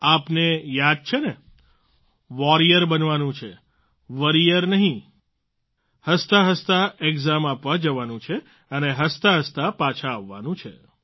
આપને યાદ છે ને વોરિયર બનવાનું છે વોરિયર નહીં હસતાંહસતાં એક્ઝામ આપવા જવાનું છે અને હસતાં હસતાં પાછા આવવાનું છે